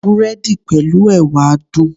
Búrẹ́dì pẹ̀lú Ẹ̀wà dùn.